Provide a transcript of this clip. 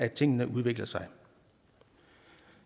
tingene udvikler sig